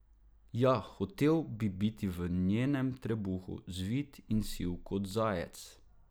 Ja, hotel bi biti v njenem trebuhu, zvit in siv kot zajec.